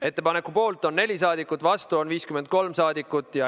Ettepaneku poolt on 4 rahvasaadikut, vastu on 53 rahvasaadikut.